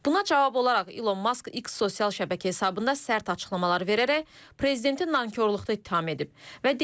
Buna cavab olaraq İlon Musk X sosial şəbəkə hesabında sərt açıqlamalar verərək prezidenti nankorluqda ittiham edib.